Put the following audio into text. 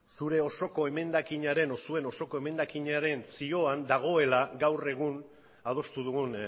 zure osoko emendakinaren edo zuen osoko emendakinaren zioan dagoela gaur egun adostu dugun